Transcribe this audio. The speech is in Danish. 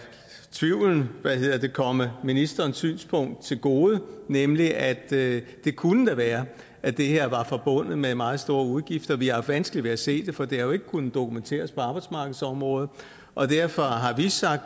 tvivlen komme ministerens synspunkt til gode nemlig at det da kunne være at det her var forbundet med meget store udgifter vi har haft vanskeligt ved at se det for det har jo ikke kunnet dokumenteres på arbejdsmarkedsområdet og derfor har vi